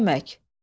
Ta neyləmək.